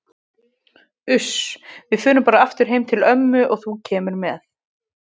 Uss, við förum bara aftur heim til ömmu og þú kemur með.